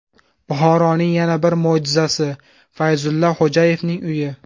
Buxoroning yana bir mo‘jizasi: Fayzulla Xo‘jayevning uyi .